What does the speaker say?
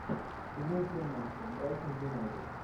прямой эфир матча брайтон юнайтед